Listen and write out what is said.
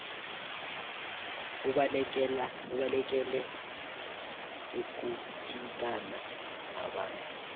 ubalekele ukuthintana nabantu